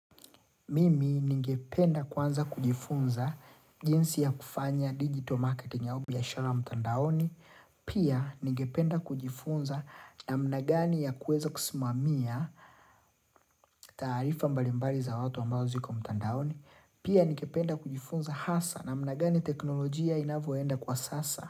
Mimi ningependa kwanza kujifunza jinsi ya kufanya digital market au biashara mtandaoni, pia ningependa kujifunza namna gani ya kuweza kusimamia taarifa mbalimbali za watu ambazo ziko mtandaoni, pia ningependa kujifunza hasa na mnagani teknolojia inavyoenda kwa sasa.